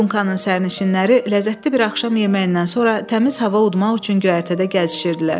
Dunkanın sərnişinləri ləzzətli bir axşam yeməyindən sonra təmiz hava udmaq üçün göyərtədə gəzişirdilər.